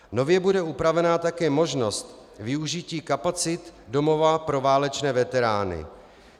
Nově bude upravena také možnost využití kapacit domova pro válečné veterány.